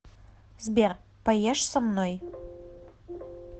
сбер поешь со мной